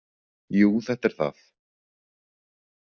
Jú, þetta er það.